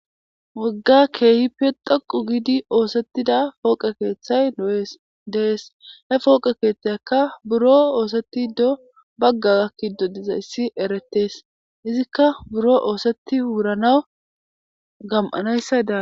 wagga keehippe daqu giidi oosettida fooqe keeththay no7ees dees he fooqe keeththayakka buro oosetti do bagga gakki do diza issi eretees izikka buro oosetti wuranaw gam7anayssada